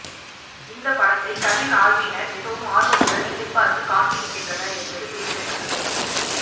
இந்த படத்தை கவின் ஆர்மியினர் மிகவும் ஆர்வத்துடன் எதிர்பார்த்து காத்திருக்கின்றனர் என்பது குறிப்பிடத்தக்கது